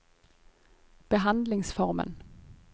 behandlingsformen